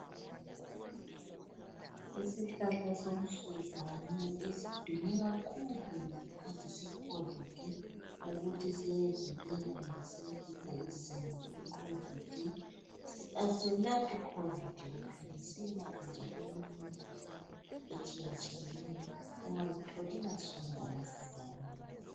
Isihlahla somsuzwane esidume kakhulu ngesikhathi seCOVID ukuthi siyavikela kumbe siyehlisa izinga le COVID. Aselaphi COVID kuphela, siyelapha njalo eminye imkhuhlane etshiyatshiyeneyo ungazitholela sona ungasizakala.